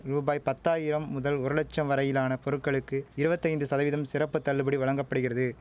ரூபாய் பத்தாயிரம் முதல் ஒரு லட்சம் வரையிலான பொருட்களுக்கு இருவத்தைந்து சதவீதம் சிறப்பு தள்ளுபடி வழங்க படிகிறது